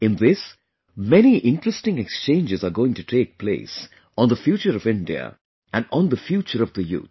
In this, many interesting exchanges are going to take place on the future of India and on the future of the youth